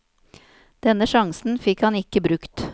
Denne sjansen fikk han ikkje brukt.